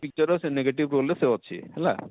picture ର ସେ negative role ରେ ଅଛେ ହେଲା,